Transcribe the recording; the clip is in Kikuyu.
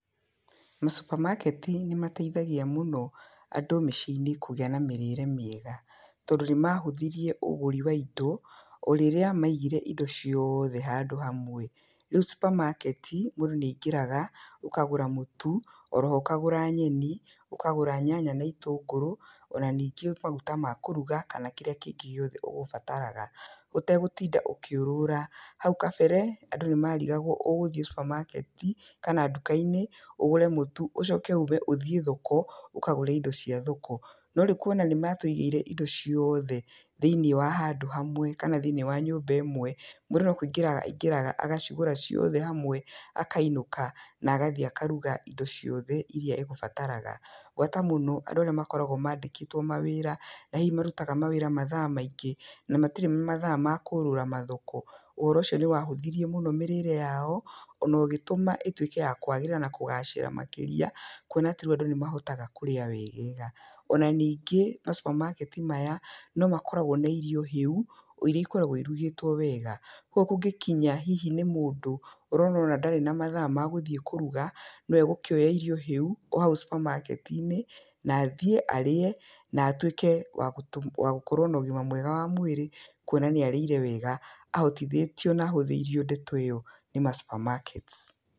Ma cupamaketi nĩ mateithagia mũno andũ mĩciĩ-inĩ kũgĩa na mĩrĩre mĩega. Tondũ nĩ mahũthirie ũgũri wa indo o rĩrĩa maigire indo ciothe handũ hamwe. Rĩu cupamaketi mũndũ nĩ aingĩraga ũkagũra mũtu oro ho ũkagũra nyeni, ũkagũra nyanya na itũngũrũ ona ningĩ maguta ma kũruga kana kĩrĩa kĩngĩ gĩothe ũgũbataraga ũtegũtinda ũkĩũrũra. Hau kabere, andũ nĩ marigagwo ũgũthiĩ cupamaketi kana nduka-inĩ ũgũre mũtu ũcoke ũme ũthiĩ thoko ũkagũre indo cia thoko. No rĩu kuona nĩ matũigĩire indo ciothe thĩinĩ wa handũ hamwe, kana thĩiniĩ wa nyũmba ĩmwe, mũndũ no kũingĩra aingĩraga agacigũra ciothe hamwe akainũka na agathiĩ akaruga indo ciothe irĩa egũbataraga. Gwata mũno andũ arĩa makoragwo mandĩkĩtwo mawĩra na hihi marutaga mawĩra mathaa maingĩ na matirĩ na mathaa ma kũũrũra mathoko. Ũhoro ũcio nĩ wahũthirie mũno mĩrĩre yao ona ũgĩtũma ĩtuĩke ya kwagĩrĩra na kũgacĩra makĩria kuona atĩ rĩu andũ nĩ mahotaga kũrĩa wegega. Ona ningĩ ma cupamaketi maya no makoragwo na irio hĩu o irĩa ikoragwo irugĩtwo wega. Koguo kũngĩkinya hihi nĩ mũndũ ũrona ona ndarĩ na mathaa ma gũthiĩ kũruga, no egũkĩoya irio hĩu o hau cupamaketi inĩ na athiĩ arĩe, na atuĩke wa gũkorwo na ũgima mwega wa mwĩrĩ kuona nĩ arĩire wega. Ahotithĩtio na ahũthĩirio ndeto ĩyo nĩ ma supermarkets.